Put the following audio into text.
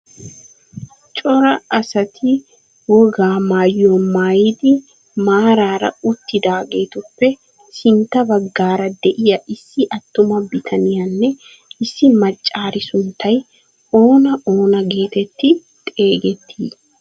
Cora asati wogaa maayuwaa maayidi maarara uttidaagetuppe sintta baggaara de'iyaa issi attuma bitaniyaanne issi maccari sunttay oona oona getetti xeegettii?